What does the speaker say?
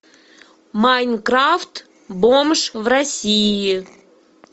майнкрафт бомж в россии